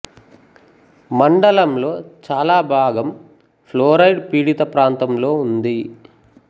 మండలం లో చాలా భాగం ఫ్లోరైడ్ పీడిత ప్రాంతం లో ఉంది